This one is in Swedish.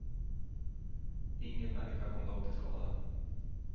Ingen människa kom dock till skada.